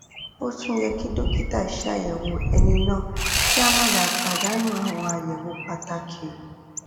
ó tún yẹ kí dókítà ṣàyẹwò ẹni náà kí a má bàa pàdánù àwọn àyẹwò pàtàkì